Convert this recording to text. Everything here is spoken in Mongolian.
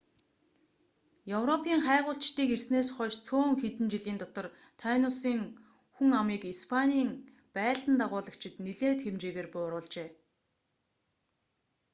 европын хайгуулчдыг ирснээс хойш цөөн хэдхэн жилийн дотор тайносын хүн амыг испанийн байлдан дагуулагчид нэлээд хэмжээгээр бууруулжээ